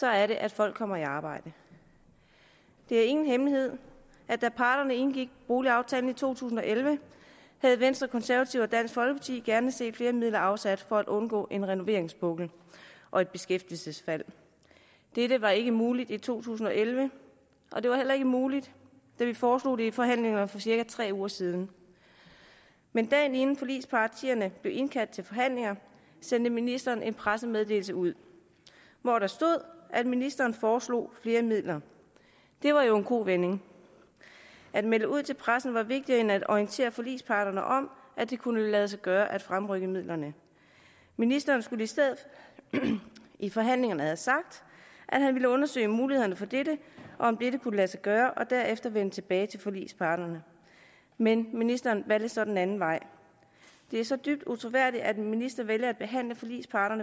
er det at folk kommer i arbejde det er ingen hemmelighed at da parterne indgik boligaftalen i to tusind og elleve havde venstre de konservative og dansk folkeparti gerne set flere midler afsat for at undgå en renoveringspukkel og et beskæftigelsesfald dette var ikke muligt i to tusind og elleve og det var heller ikke muligt da vi foreslog det i forhandlingerne for cirka tre uger siden men dagen inden forligspartierne blev indkaldt til forhandlinger sendte ministeren en pressemeddelelse ud hvor der stod at ministeren foreslog flere midler det var jo en kovending at melde ud til pressen var vigtigere end at orientere forligsparterne om at det kunne lade sig gøre at fremrykke midlerne ministeren skulle i stedet i forhandlingerne have sagt at han ville undersøge mulighederne for dette og om dette kunne lade sig gøre og derefter vende tilbage til forligsparterne men ministeren valgte så den anden vej det er så dybt utroværdigt at en minister vælger at behandle forligsparter